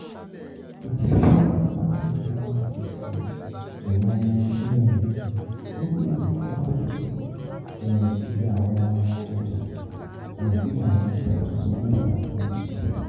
Egyptian Mercantile Exchange ìyẹn EMX ń gbero fún atunto, ní fífi awọn ọja um fifi awọn ọja tuntun meta kun tilẹ̀.